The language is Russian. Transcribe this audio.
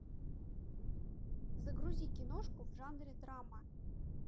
загрузи киношку в жанре драма